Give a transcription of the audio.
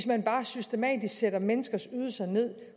man bare systematisk satte menneskers ydelser ned